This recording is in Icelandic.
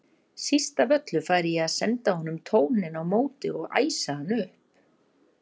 Síst af öllu færi ég að senda honum tóninn á móti og æsa hann upp.